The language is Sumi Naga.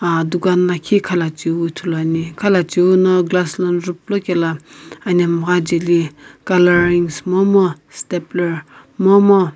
Aaa dukan lakhi khalacheu ithulu ane khalacheu no glass lono juplo kelo anamgha ajeli colouring momu stepler momu.